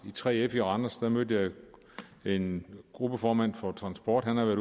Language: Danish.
3f i randers der mødte jeg en gruppeformand for transport han havde